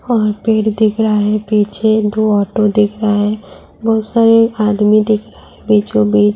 और पेड़ दिख रहा है पीछे दो ऑटो दिख रहा है। बोहोत सारे आदमी दिख रहा है। बीचों बीच --